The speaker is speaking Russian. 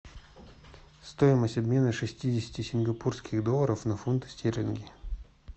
стоимость обмена шестидесяти сингапурских долларов на фунты стерлинги